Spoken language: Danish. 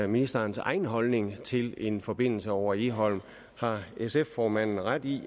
ministerens egen holdning til en forbindelse over egholm har sf formanden ret i